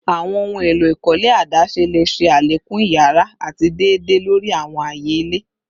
Awọn ohun elo ikole adaṣe le ṣe alekun iyara ati deede lori awọn aaye ile